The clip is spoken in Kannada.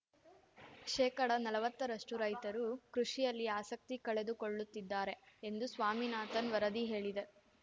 ಶೇಕಡ ನಲ್ವತ್ತರಷ್ಟುರೈತರು ಕೃಷಿಯಲ್ಲಿ ಆಸಕ್ತಿ ಕಳೆದುಕೊಳ್ಳುತ್ತಿದ್ದಾರೆ ಎಂದು ಸ್ವಾಮಿನಾಥನ್‌ ವರದಿ ಹೇಳಿದೆ